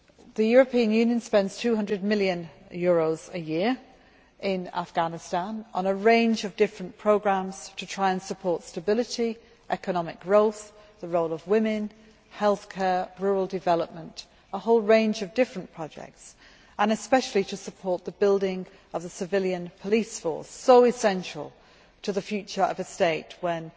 The European Union spends EUR 200 million a year in Afghanistan on a range of different programmes to try and support stability, economic growth, the role of women, healthcare, rural development a whole range of different projects and especially to support the building of a civilian police force, so essential to the state's future, when